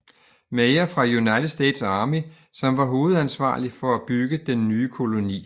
Meyer fra United States Army som var hovedansvarlig for at bygge den nye koloni